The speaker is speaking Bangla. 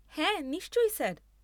হ্যাঁ, নিশ্চই স্যার।